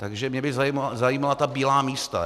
Takže mě by zajímala ta bílá místa.